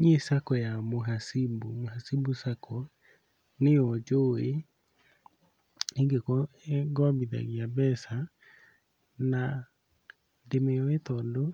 Niĩ Sacco ya Mhasibu, Mhasibu Sacco nĩyo njũĩ ingĩkorwo ĩngombithagia mbeca, na ndĩmĩũĩ tondũ